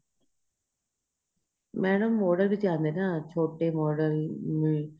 madam model ਵੀ ਤਾਂ ਆਦੇ ਨੇ ਨਾ ਛੋਟੇ model